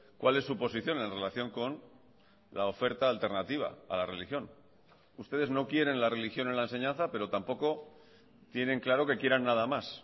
cuál es su posición en relación con la oferta alternativa a la religión ustedes no quieren la religión en la enseñanza pero tampoco tienen claro que quieran nada más